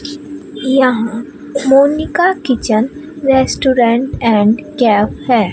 यह Monica kitchen restaurant and cafe है।